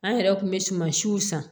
An yɛrɛ kun bɛ sumansiw san